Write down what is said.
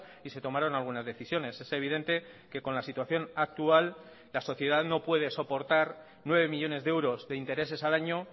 y se tomaron algunas decisiones es evidente que con la situación actual la sociedad no puede soportar nueve millónes de euros de intereses al año